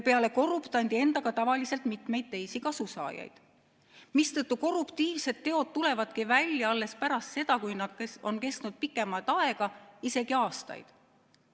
Peale korruptandi enda on tavaliselt mitmeid teisi kasusaajaid, mistõttu korruptiivsed teod tulevadki välja alles pärast seda, kui need on kestnud pikemat aega, isegi aastaid.